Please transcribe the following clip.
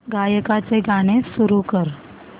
गायकाचे गाणे सुरू कर